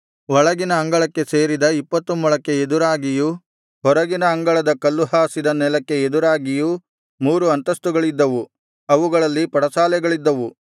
ಒಳಗಿನ ಅಂಗಳಕ್ಕೆ ಸೇರಿದ ಇಪ್ಪತ್ತು ಮೊಳಕ್ಕೆ ಎದುರಾಗಿಯೂ ಹೊರಗಿನ ಅಂಗಳದ ಕಲ್ಲುಹಾಸಿದ ನೆಲಕ್ಕೆ ಎದುರಾಗಿಯೂ ಮೂರು ಅಂತಸ್ತುಗಳಿದ್ದವು ಅವುಗಳಲ್ಲಿ ಪಡಸಾಲೆಗಳಿದ್ದವು